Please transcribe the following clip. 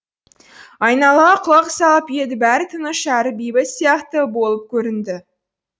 айналаға құлақ салып еді бәрі тыныш әрі бейбіт сияқты болып көрінді